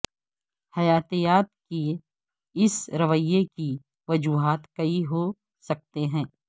حیاتیات کے اس رویے کی وجوہات کئی ہو سکتے ہیں